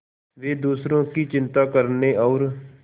वे दूसरों की चिंता करने और